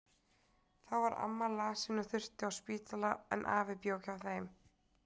Þá var amma lasin og þurfti á spítala, en afi bjó hjá þeim.